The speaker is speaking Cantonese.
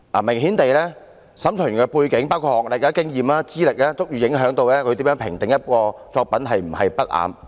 明顯地，審裁委員的背景，包括學歷、經驗和資歷均足以影響他如何評定一件作品是否不雅。